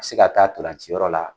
A bɛ se ka taa ntolanci yɔrɔ la.